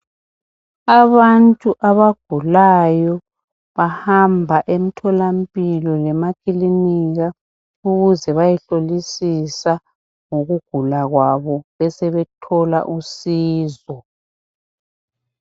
Abantu abagulayo bahamba emtholampilo lema kilinika ukuze bayehlolisisa ngokugula kwabo besebethola usizo.